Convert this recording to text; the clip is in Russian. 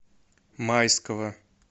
майского